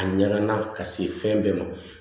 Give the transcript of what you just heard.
A ɲagamina ka se fɛn bɛɛ ma